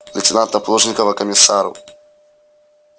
лейтенанта плужникова к комиссару